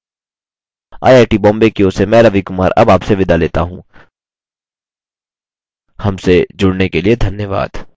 I I T Bombay की ओर से मैं रवि कुमार अब आपसे विदा लेता हूँ हमसे जुड़ने के लिए धन्यवाद